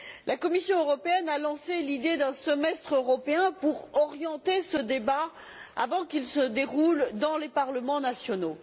La Commission européenne a lancé l'idée d'un semestre européen pour orienter ce débat avant qu'il ne se déroule dans les parlements nationaux.